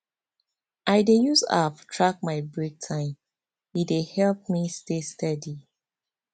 i dey use app track my break time e dey help me stay steady